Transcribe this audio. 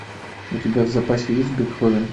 у тебя в запасе есть бетховен